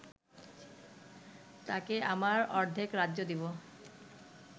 তাকে আমার অর্ধেক রাজ্য দিব